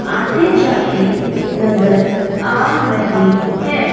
आते जाते नज़र आ रहे हैं।